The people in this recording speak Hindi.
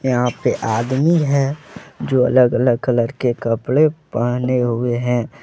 यहां पे आदमी है जो अलग अलग कलर के कपड़े पहने हुए हैं।